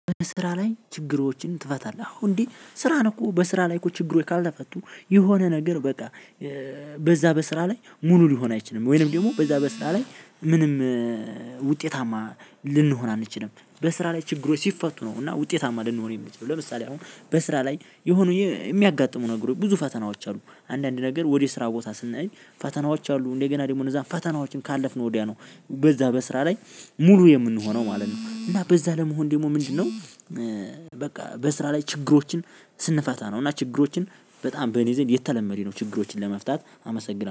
ስራ ላይ ችግሮችን ትፈታለህ? አዎ እንዴ ስራ ነው እኮ በስራ ላይ እኮ ችግሩ ካልተፈቱ የሆነ ነገር በቃ እ በዛ በስራ ላይ ሙሉ ሊሆን አይችልም። ወይም ወይንም ደግሞ በዛ በስራ ላይ ምንም እ ውጤታማ ልንሆን አንችልም። በስራ ላይ ችግሮች ሲፈቱ ነው እና ውጤታማ ልንሆን የምንችለው። ለምሳሌ አሁን በስራ ላይ የሆነ የሚያጋጥሙን ነገሮች ብዙ ፈተናዎች አሉ። አንዳንድ ነገር ወደ ስራ ቦታ ስንሄድ ፈተናዎች አሉ እንደገና ደግሞ እዛ ፈተናዎችን ካለፍን ወዲያ ነው። በዛ በስራ ላይ ሙሉ የምንሆነው ማለት ነው። እና በዛ ለመሆን ደግሞ ምንድነው? እ በቃ በስራ ላይ ችግሮችን ስንፈታ ነው። እና ችግሮችን በጣም በኔ ዘንድ የተለመደ ነው። ችግሮችን ለመፍታት አመሰግናለሁ